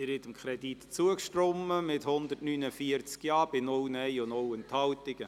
Sie haben dem Kredit zugestimmt, mit 149 Ja- bei 0 Nein-Stimmen und 0 Enthaltungen.